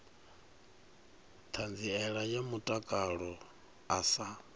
ṱhanziela ya mutakalo a sa